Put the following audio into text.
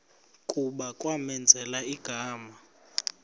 kuba kwamenzela igama